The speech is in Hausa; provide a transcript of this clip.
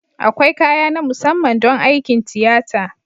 Akwai kaya na musamman don aikin tiyata